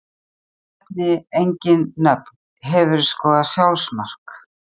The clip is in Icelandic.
Nefni engin nöfn Hefurðu skorað sjálfsmark?